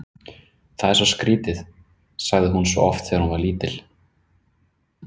Það er svo skrítið, sagði hún svo oft þegar hún var lítil.